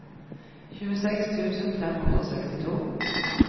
tjueseks tusen fem hundre og sekstito